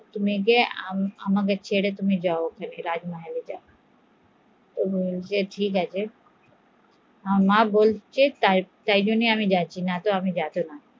আমাকে ছেড়ে তোমাকে রাজমহলে যেতে হবে, আচ্ছা ঠিক আছে মা বলছে তাই যাচ্ছি নাহলে আমি যেতাম না